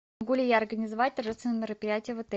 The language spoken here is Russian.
могу ли я организовать торжественное мероприятие в отеле